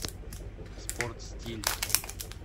спорт стиль